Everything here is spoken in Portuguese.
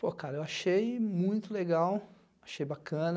Pô, cara, eu achei muito legal, achei bacana,